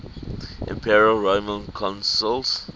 imperial roman consuls